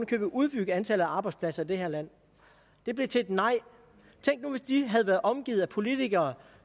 købet udbygge antallet af arbejdspladser i det her land det blev til et nej tænk nu hvis de havde været omgivet at politikere